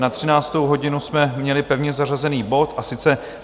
Na 13. hodinu jsme měli pevně zařazený bod, a sice